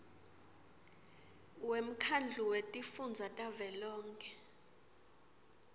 wemkhandlu wetifundza tavelonkhe